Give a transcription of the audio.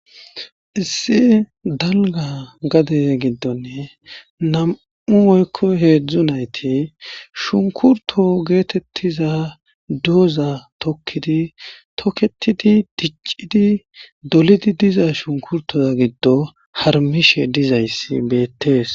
Issi dalga gade gidoni nam'u woyko hezhu nayti shunkurto getetiza doza tokidi toketidi dicidi diza shunkurtota gidon harumidi dizaysi beetes